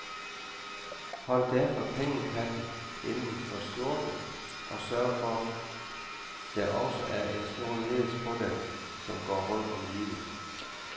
Hold derfor pengekatten inden for skjorten, og sørg for der også er en snor nederst på den, som går rundt om livet.